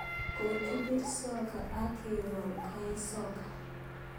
Kokibir soccer ak ke wol koek soka